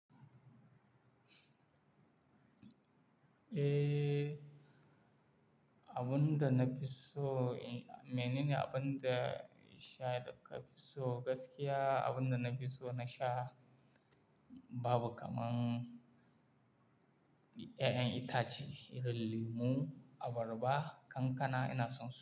Eh, abun da na fi so, mene ne abun da sha ya daka fi so gaskiya, abun da na fi so na sha babu kamar ƴaƴan itace, irin lemu, abarba, kankana ina son.